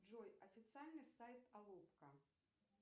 джой официальный сайт алупка